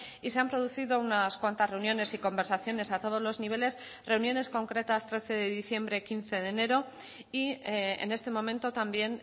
y se han producido unas cuantas reuniones y conversaciones a todos los niveles reuniones concretas trece de diciembre quince de enero y en este momento también